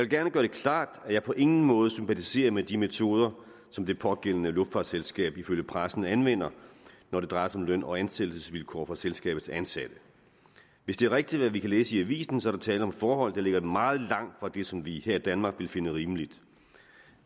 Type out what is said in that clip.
gerne gøre det klart at jeg på ingen måde sympatiserer med de metoder som det pågældende luftfartsselskab ifølge pressen anvender når det drejer sig om løn og ansættelsesvilkår for selskabets ansatte hvis det er rigtigt hvad vi kan læse i avisen er der tale om forhold der ligger meget langt fra det som vi her i danmark ville finde rimeligt